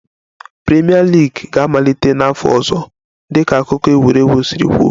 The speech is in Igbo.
Premier League ga-amalite n'afọ ọzọ dịka akụkọ egwuregwu si kwuo